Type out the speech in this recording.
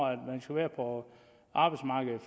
man skal være på arbejdsmarkedet